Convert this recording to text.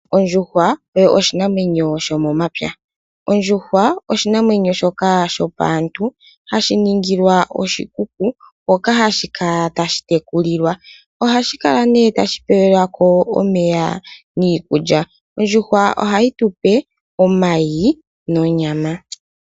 Ondjuhwa oyo oshinamwenyo sho momapya. Ondjuhwa oshinamwenyo shoka shopaantu hashi ningilwa oshikuku hoka hashi kala tashi tekulilwa. Ohashi kala nee tashipelwako omeya niikulya. Ondjuhwa ohayi tupe omayi nonyama.